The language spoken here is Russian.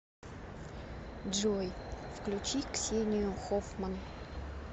джой включи ксению хоффман